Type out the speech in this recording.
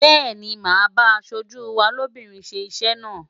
Bẹ́ẹ̀ni, màá bá aṣojú wa lóbìnrin ṣe iṣẹ́ náà.